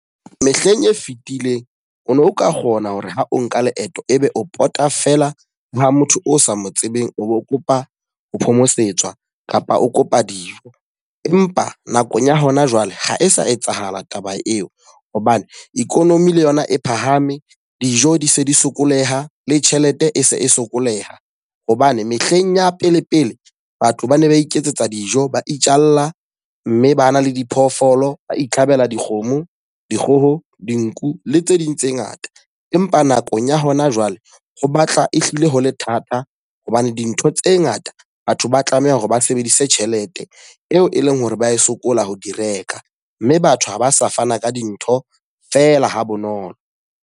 Mehleng e fitileng, o no ka kgona hore ha o nka leeto e be o pota feela ha motho o sa mo tsebeng o bo kopa ho phomosetswa kapa o kopa dijo. Empa nakong ya hona jwale ha e sa etsahala taba eo hobane economy le yona e phahame, dijo di se di sokole ha, le tjhelete e se e sokoleha. Hobane mehleng ya pele pele batho ba ne ba iketsetsa dijo, ba itjalla mme ba na le diphoofolo, ba itlhabela dikgomo, dikgoho, dinku le tse ding tse ngata. Empa nakong ya hona jwale ho batla ehlile ho le thata hobane dintho tse ngata batho ba tlameha hore ba sebedise tjhelete eo e leng hore ba sokola ho di reka. Mme batho ha ba sa fana ka dintho feela ha bonolo.